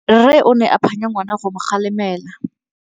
Rre o ne a phanya ngwana go mo galemela.